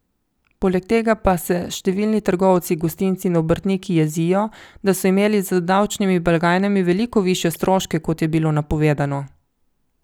Poleg tega pa se številni trgovci, gostinci in obrtniki jezijo, da so imeli z davčnimi blagajnami veliko višje stroške, kot je bilo napovedano.